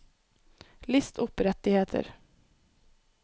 list opp rettigheter